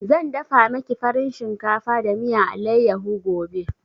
Zan dafa maki farin shinkafa da miyan allayaho gobe